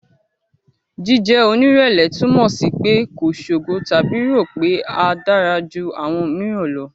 Jíjẹ́ onírẹ̀lẹ̀ túmọ̀ sí pé kò ṣogo tàbí rò pé a dára ju àwọn mìíràn lọ.